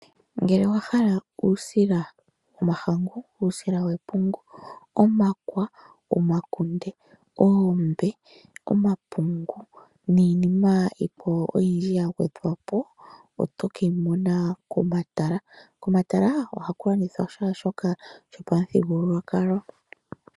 Ngele owahala uusila womahangu, uusila wepungu, omakwa, omakunde, oombe, omapungu, niinima yikwawo oyindji yagwedhwapo, oto keyi mona komatala. Komatala ohaku landithwa shaashoka shopamuthigululwakalo.